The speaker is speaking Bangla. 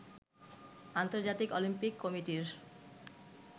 আন্তর্জাতিক অলিম্পিক কমিটির